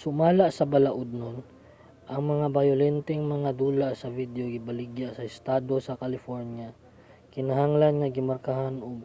sumala sa balaodnon ang mga bayolenteng mga dula sa video nga gibaligya sa estado sa california kinahanglan nga gimarkahan og